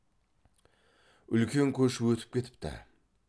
үлкен көш өтіп кетіпті